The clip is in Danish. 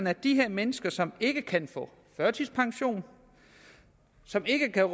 at de her mennesker som ikke kan få førtidspension som ikke kan